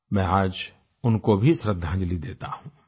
मैं आज उनको भी श्रद्दांजलि देता हूँ